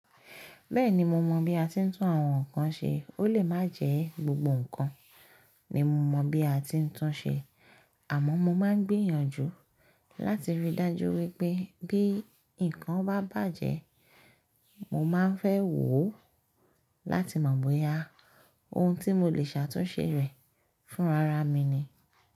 Bẹ́ẹ̀ni mo mọ bí a ti ń tún àwọn nǹkan ṣe, ó lè má jẹ gbogbo nǹkan ni mo mọ̀ bí a ti ń tún ṣe, àmọ́ mo máa ń gbìyànjú láti ríi dájú wípé bí ǹkan bá bàjẹ́, mo máa ń fẹ́ wò ó láti mọ̀ bóyá ohun tí mo lè ṣàtúnṣe rẹ̀ fúnra ra mi ni.